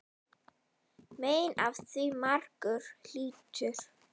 Mein af því margur hlýtur.